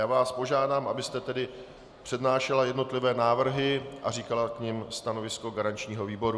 Já vás požádám, abyste tedy přednášela jednotlivé návrhy a říkala k nim stanovisko garančního výboru.